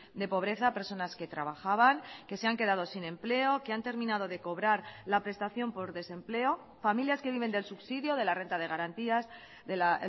de pobreza personas que trabajaban que se han quedado sin empleo que han terminado de cobrar la prestación por desempleo familias que viven del subsidio de la renta de garantías de la